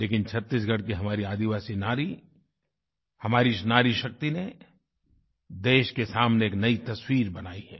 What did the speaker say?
लेकिन छत्तीसगढ़ की हमारी आदिवासी नारी हमारी इस नारीशक्ति ने देश के सामने एक नई तस्वीर बनाई है